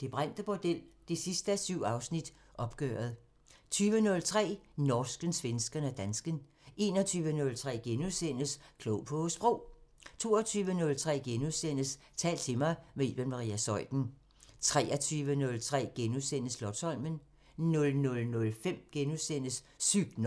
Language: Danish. Det brændte bordel 7:7 – Opgøret * 20:03: Norsken, svensken og dansken 21:03: Klog på Sprog * 22:03: Tal til mig – med Iben Maria Zeuthen * 23:03: Slotsholmen * 00:05: Sygt nok *